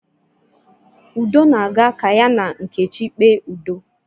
Udo na-aga ka ya na nkechi kpee udo